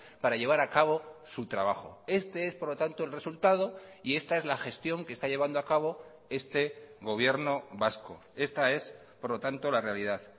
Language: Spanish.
para llevar a cabo su trabajo este es por lo tanto el resultado y esta es la gestión que está llevando a cabo este gobierno vasco esta es por lo tanto la realidad